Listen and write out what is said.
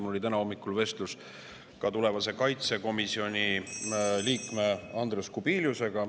Mul oli täna hommikul vestlus tulevase kaitsekomisjoni liikme Andrius Kubiliusega.